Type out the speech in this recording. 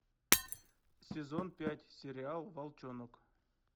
сезон пять сериал волчонок